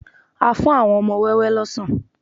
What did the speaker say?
A fún àwọn wọn ọmọ wẹ́wẹ́ lọ́sàn